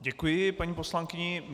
Děkuji paní poslankyni.